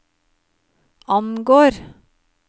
angår